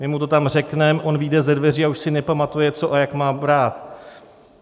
My mu to tam řekneme, on vyjde ze dveří a už si nepamatuje, co a jak má brát.